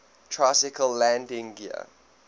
tricycle landing gear